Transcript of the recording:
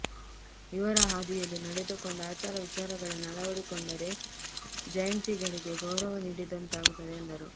ಇವರ ಹಾದಿಯಲ್ಲಿ ನಡೆದುಕೊಂಡು ಆಚಾರ ವಿಚಾರಗಳನ್ನು ಅಳವಡಿಕೊಂಡರೆ ಜಯಂತಿಗಳಿಗೆ ಗೌರವ ನೀಡಿದಂತಾಗುತ್ತದೆ ಎಂದರು